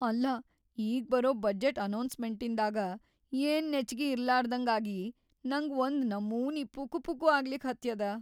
ಅಲ್ಲಾ ಈಗ್‌ ಬರೋ ಬಜೆಟ್‌ ಅನೌನ್ಸ್‌ಮೆಂಟಿಂದಾಗ ಏನ್‌ ನೆಚ್ಚಿಗಿ ಇರ್ಲಾರ್ದಂಗಾಗಿ ನಂಗ್‌ ಒಂದ್‌ ನಮೂನಿ ಪುಕುಪುಕು ಆಗ್ಲಿಕ್ ಹತ್ಯದ.